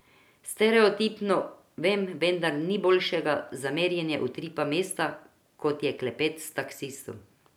Stereotipno, vem, vendar ni boljšega za merjenje utripa mesta, kot je klepet s taksistom.